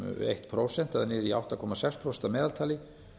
eitt prósent niður í átta komma sex prósent að meðaltali